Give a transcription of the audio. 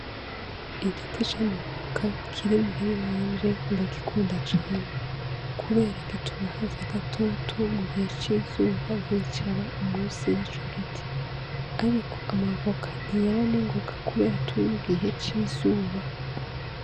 Igiti c'amaboka kiri muwiri wanje ndagikunda cane, kubera gituma haza gatutu mu gihe cizuba nkicara u musi y'ico giti, ariko amavoka ntiyera ningoka, kubera turi mu gihe c'izuba.